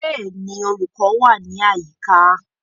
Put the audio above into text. Bẹ́ẹ̀ni, olùkọ́ wà ní àyíká